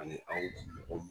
Ani anw dugu mɔgɔw.